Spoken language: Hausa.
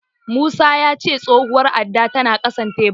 Musa ya ce tsohuwar addar tana ƙasan tebur.